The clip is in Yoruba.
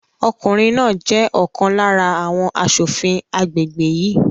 Ọkùnrin náà jẹ́ ọ̀kan lára àwọn asòfin agbègbè yìí